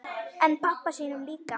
En pabba sínum líka.